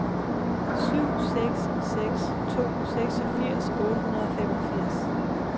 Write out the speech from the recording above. syv seks seks to seksogfirs otte hundrede og femogfirs